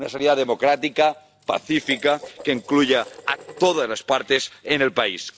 una salida democrática, pacífica, que incluya a todas las partes en el país